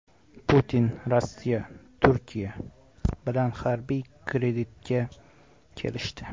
Putin: Rossiya Turkiya bilan harbiy kreditga kelishdi.